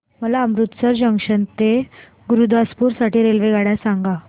मला अमृतसर जंक्शन ते गुरुदासपुर साठी रेल्वेगाड्या सांगा